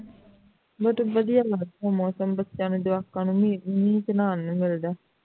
ਬਹੁਤ ਵਧੀਆ ਲੱਗਦਾ ਮੌਸਮ ਬੱਚਿਆਂ ਨੂੰ ਜਵਾਕਾਂ ਨੂੰ ਮੀਂਹ ਮੀਂਹ ਚ ਨਹਾਨ ਨੂੰ ਮਿਲਦਾ ਹੈ